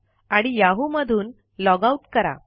आणि याहू मधून log out करा